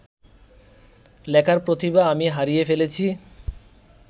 লেখার প্রতিভা আমি হারিয়ে ফেলেছি